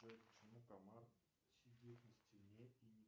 джой почему комар сидит на стене